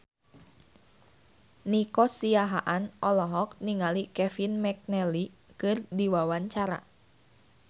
Nico Siahaan olohok ningali Kevin McNally keur diwawancara